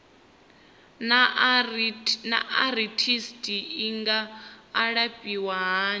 naa arthritis i nga alafhiwa hani